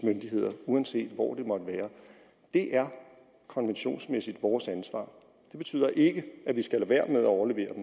myndigheder uanset hvor det måtte være er konventionsmæssigt vores ansvar det betyder ikke at vi skal lade være med at overlevere